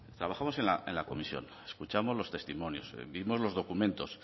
trabajamos en la comisión escuchamos los testimonios vimos los documentos